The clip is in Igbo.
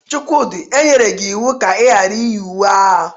Chukwudi, e nyere gi iwu ka i ghara iyi uwe agha!